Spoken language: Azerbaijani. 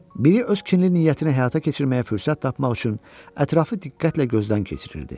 Biri öz kinli niyyətini həyata keçirməyə fürsət tapmaq üçün ətrafı diqqətlə gözdən keçirirdi.